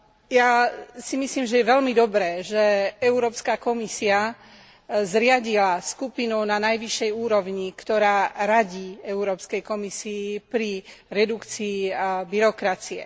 Ja si myslím, že je veľmi dobré, že Európska komisia zriadila skupinu na najvyššej úrovni, ktorá radí Európskej komisii pri redukcii byrokracie.